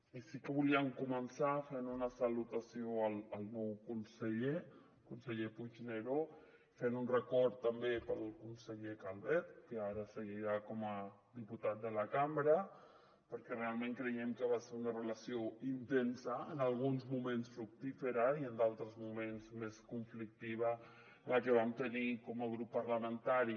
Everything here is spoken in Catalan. i sí que volíem començar fent una salutació al nou conseller conseller puigneró i fent un record també per al conseller calvet que ara seguirà com a diputat de la cambra perquè realment creiem que va ser una relació intensa en alguns moments fructífera i en d’altres moments més conflictiva la que hi vam tenir com a grup parlamentari